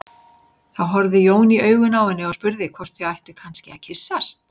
Þá horfði Jón í augun á henni og spurði hvort þau ættu kannski að kyssast.